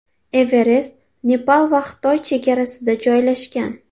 Everest Nepal va Xitoy chegarasida joylashgan.